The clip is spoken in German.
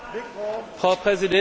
Frau Präsidentin!